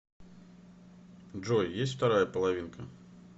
джой есть вторая половинка